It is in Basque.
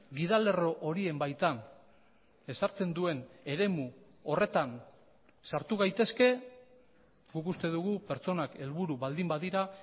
gidalerro horien baitan ezartzen duen eremu horretan sartu gaitezke guk uste dugu pertsonak helburu baldin badira